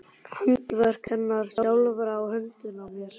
Handaverk hennar sjálfrar á höndunum á mér!